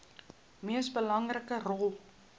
mees belangrike rol